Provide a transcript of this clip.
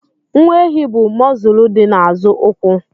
Nwa ehi bụ mọzụlụ dị n'azụ ụkwụ.